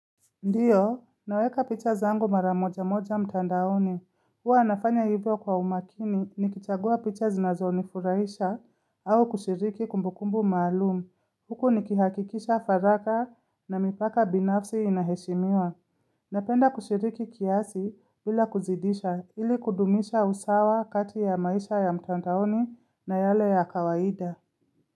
Ndiyo, naweka picha zangu mara moja moja mtandaoni. Huwa nafanya hivyo kwa umakini ni kichagua picha zinazo nifurahisha au kushiriki kumbukumbu maalumu. Huku ni kihakikisha faragha na mipaka binafsi inaheshimiwa. Napenda kushiriki kiasi bila kuzidisha ili kudumisha usawa kati ya maisha ya mtandaoni na yale ya kawaida.